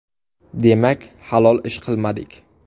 Demak, halol ish qilmadik.